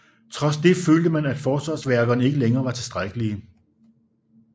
Trods det følte man at forsvarsværkerne ikke længere var tilstrækkelige